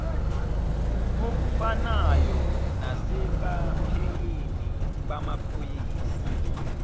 okufanayo nasebaphenyini bamaphoyisa